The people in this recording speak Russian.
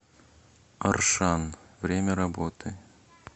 аршан время работы